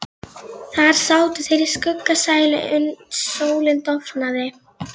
Þar sátu þeir í skuggsælu uns sólin dofnaði.